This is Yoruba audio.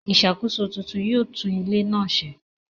ìṣàkóso tuntun yóò tún ilé náà se.